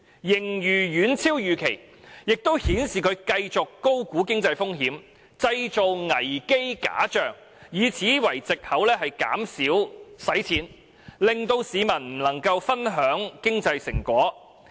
盈餘遠超預期亦顯示他繼續高估經濟風險，製造危機假象，以此作為藉口減少用錢，令市民不能分享經濟成果。